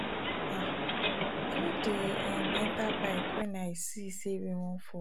um i no dey um enta bike wen i see sey rain wan fall